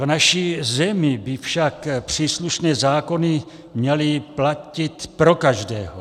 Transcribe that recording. V naší zemi by však příslušné zákony měly platit pro každého.